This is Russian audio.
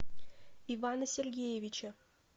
ивана сергеевича